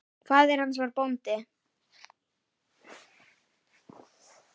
Faðir hans var bóndi.